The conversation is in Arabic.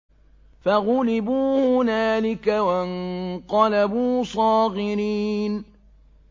فَغُلِبُوا هُنَالِكَ وَانقَلَبُوا صَاغِرِينَ